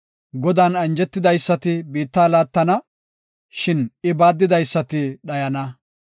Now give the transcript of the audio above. Godan anjetidaysati biitta laattana; shin I baaddidaysati dhayana.